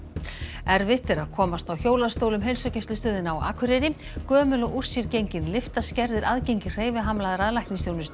erfitt er að komast á hjólastól um heilsugæslustöðina á Akureyri gömul og úr sér gengin lyfta skerðir aðgengi hreyfihamlaðra að læknisþjónustu